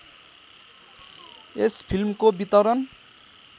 यस फिल्मको वितरण